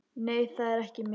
Nei, það er ekki mikið.